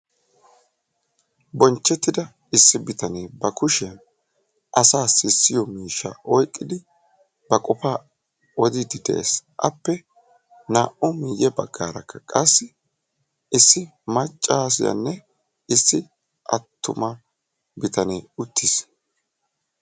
bonchchetidda issi bitaane ba kushiyaan asa sissiyoo miishsha oyqqidi asassi odidde des, appe naa"u miyye baggara qasi issi maccassiyaanne issi attuma bitane uttiis.